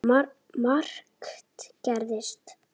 Þessi útgáfa er einnig til